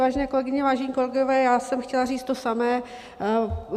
Vážené kolegyně, vážení kolegové, já jsem chtěla říct to samé.